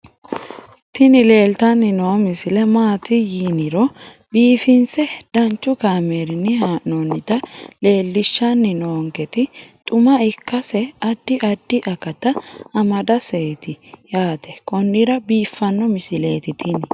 tini leeltanni noo misile maaati yiniro biifinse danchu kaamerinni haa'noonnita leellishshanni nonketi xuma ikkase addi addi akata amadaseeti yaate konnira biiffanno misileeti tini